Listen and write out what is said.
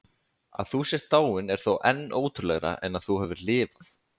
Að þú sért dáin er þó enn ótrúlegra en að þú hafir lifað.